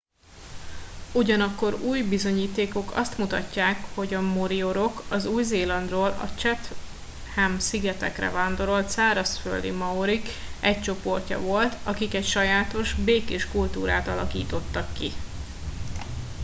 ugyanakkor új bizonyítékok azt mutatják hogy a moriorik az új zélandról a chatham szigetekre vándorolt szárazföldi maorik egy csoportja volt akik egy sajátos békés kultúrát alakítottak ki